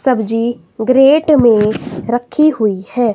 सब्जी ग्रेट में रखी हुई है।